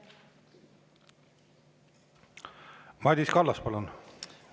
Madis Kallas, palun!